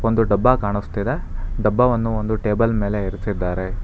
ಒಂದು ಡಬ್ಬ ಕಾಣಿಸ್ತಿದೆ ಡಬ್ಬವನ್ನು ಒಂದು ಟೇಬಲ್ ಮೇಲೆ ಇರಿಸಿದ್ದಾರೆ.